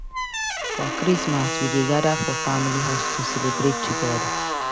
For Christmas we dey gather for family house to celebrate together.